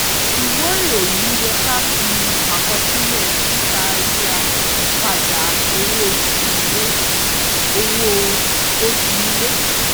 ìwé ìròyìn yẹ ká fi àkọsílẹ̀ títà rírà padà owó oṣù ilé. owó oṣù ilé.